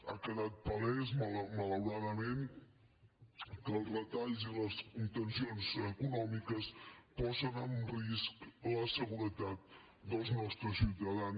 ha quedat palès malaura·dament que les retallades i les contencions econòmi·ques posen en risc la seguretat dels nostres ciutadans